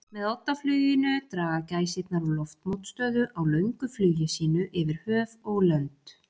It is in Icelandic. Með oddafluginu draga gæsirnar úr loftmótstöðu á löngu flugi sínu yfir höf og lönd.